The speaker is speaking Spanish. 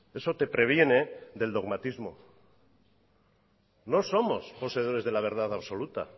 eso te previene del dogmatismo no somos poseedores de la verdad absoluta